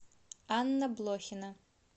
анна блохина